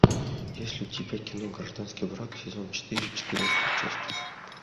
есть ли у тебя кино гражданский брак сезон четыре четырнадцатая часть